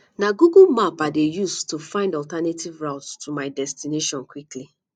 na google maps i dey use to find alternative routes to my destination quickly